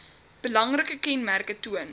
belangrike kenmerke toon